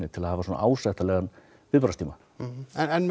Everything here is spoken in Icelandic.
til að hafa ásættanlegan viðbragðstíma en með